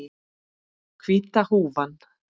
Hvíta húfan.